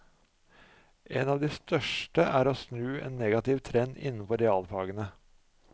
En av de største er å snu en negativ trend innenfor realfagene.